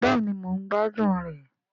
Bẹ́ẹ̀ni mò ń gbádùn rẹ̀